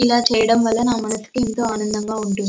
ఇలా చేయడం వాళ్ళ నా మనసుకు ఎంతో అందంగా ఉంటుంది.